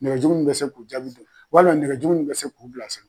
Nɛgɛjuru min be se k'o jaabi dɔn ɔwali nɛgɛjuru min be se k'u bilasera